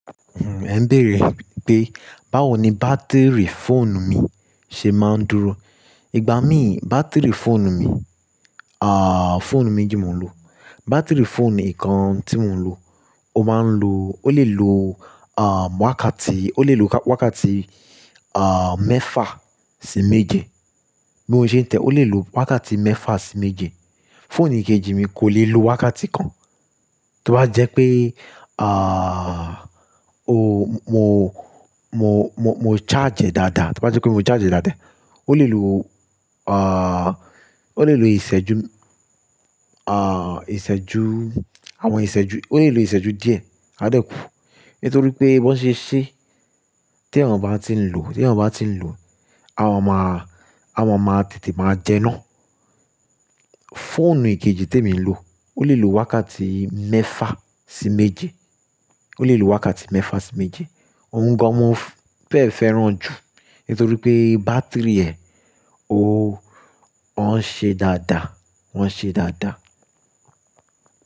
Ẹ ń bèèrè pé báwo ni bátìrì fóònù mi ṣe máa ń dúró. Ìgbà mí bátìrì fóònù mi, ah, fóònù méjì mo ń lo. Bátìrì fóònù i kan tí mò ń lo, ó máa ń lo, ó lè lo, ah, wákàtí, ó lè lo wákàtí, ah, mẹ́fà sí méje. Bí mo ṣe ń tẹ̀ ẹ́, ó lè lo wákàtí mẹ́fà sí méje. Fóònù ikeji mi kò lè lo wákàtí kan. Tí o bá jẹ́ pé, ah, o, mo, mo, mo, mo charge e dáadáa, tí bá jẹ́ kí mo charge e dáadáa, ó lè lo, ah, ó lè lo ìṣẹ́jú, ah, ìṣẹ́jú, àwọn ìṣẹ́jú, ó lè lo ìṣẹ́jú díẹ̀, a dẹ́kù. Nítorí pé bí wọ́n ṣe ṣẹ́, tí ẹyan o bá tí ń lò, tí ẹni bá tí ń lò, a máa máa, a máa máa tètè máa jẹná. Fóònù ikeji tí èmi ń lò, ó lè lo wákàtí mẹ́fà sí méje. Ó lè lo wákàtí mẹ́fà sí méje. Òun gan mo fẹ́ fẹ́ràn ju nítorí pé bátìrì ẹ, ó, wọ́n ṣe dáadáa, wọ́n ṣe dáadáa.